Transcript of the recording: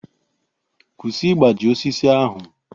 Kwụsị ịgbaji osisi ahụ!